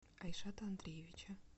айшата андреевича